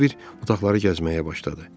Bir-bir otaqları gəzməyə başladı.